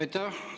Aitäh!